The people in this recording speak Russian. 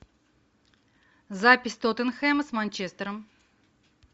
запись тоттенхэма с манчестером